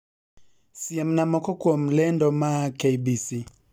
siemna moko kuom lendo maa k.b.c